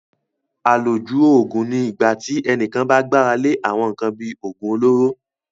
Àlòjù Òògùn ni ìgbà tí ẹnìkan bá gbára lé àwọn nkan bíi oògùn olóró